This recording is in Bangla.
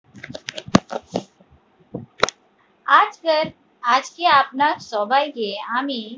আজকের আজকে আপনার সবাই কে আমি